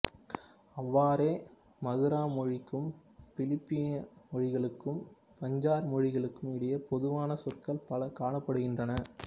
அவ்வாறே மதுரா மொழிக்கும் பிலிப்பீனிய மொழிகளுக்கும் பஞ்சார் மொழிக்கும் இடையில் பொதுவான சொற்கள் பல காணப்படுகின்றன